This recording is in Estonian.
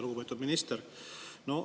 Lugupeetud minister!